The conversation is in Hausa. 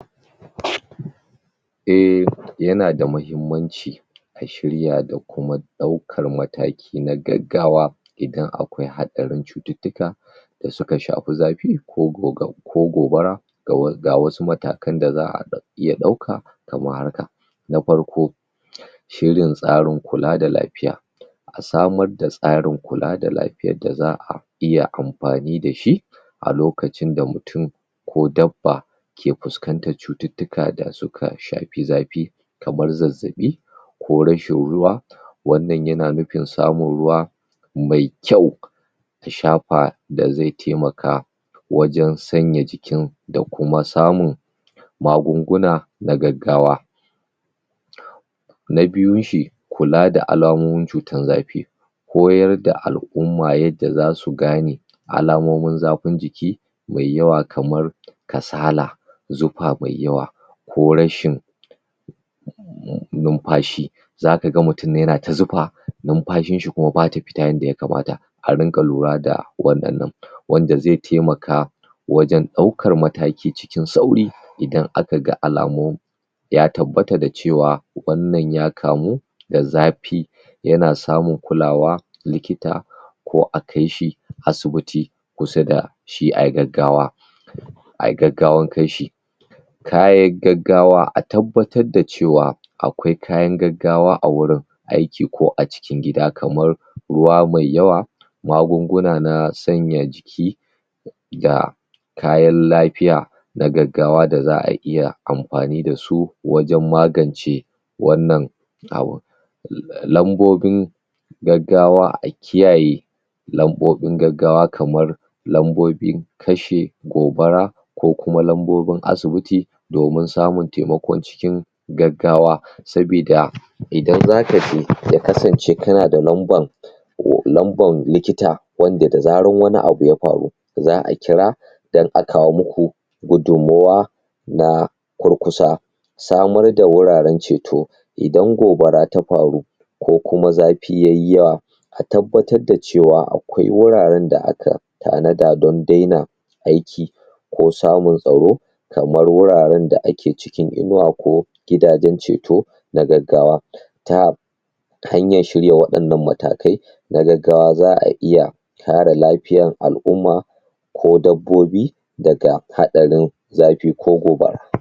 eh ya na da muhimmanci a shiyar da kuma daukar mataki na gaggawa idan akwai hadari cututuka da suka shafi zafi ko goga ko gobara ga wasu matakan da za'a ya dauka kamar haka na farko shirin tsarin kula da lafiya a samar da tsarin kula da lafiya daza'a iya amfani da shi a lokacin da mutum ko dabba ke fuskantan cututuka da suka shafi zafi kamar zazzabi ko rashin ruwa wannan ya na nufin samun ruwa mai kyau tashafa da zai tamaka wajan sanya jiki da kuma samu magunguna da gaggawa na biyun shi kula da alamomi cutan zafi koyar da al'uma yadda za su gane alamomin zafin jiki mai yawa kamar kasala zufa mai yawa ko rashin numfashi za ka ga mutum ya na ta zufa numfashin shi kuma ba ta fita yanda ya kamata a ringa lura da wadannan wanda zai taimaka wajen dauka mataki cikin sauri idan aka ga alamomi ya tabatta da cewa wannan y kamo da zafi ya na samun kulawa likita ko a kai shi asibiti kusa da shi a yi gaggawa a yi gaggawan kai shii kayya gaggawa a tabbata da cewa a kwai kayan gaggawa a wurin aiki ko a cikin gida kamar ruwa mai yawa magunguna na sanya jiki da kayan lafiya da gaggawa da za'a iya amfani da su wajen magance wannan abun lambobin gaggawa a kiyaye lambobin gaggawa kamar lambobin kashe gobara ko kuma lambobin asibiti domin samun taimako cikin gaggawa sobida idan za ka jeya kasance ka na da lamban lamban likita wan de zaran wani abu ya faru za'a kira dan a kawo muku gudumuwa da kurkusa samar da wuraren ceto idan gobara ta faru ko kuma zafi ta yi yawa a tabbatar da cewa akwai wuraren da aka tanada dan daina aiki ko samun tsaro kamar wuraren da ake cikin inuwa ko gidajen ceto da gaggawa ta hanyar shiryawa wannan matakai na gaggawa za'a iya kara lafiyan al'uma ko dabbobi daga hatsarin zafi ko gobara